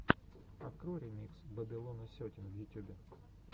открой ремикс бэбилона сетин в ютюбе